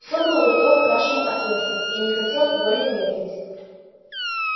все было готово к нашему отъезду я не хотел более медлить